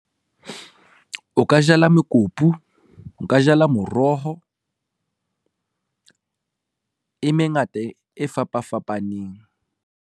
O ka jala mekopu, o ka jala moroho e mengata e fapa fapaneng.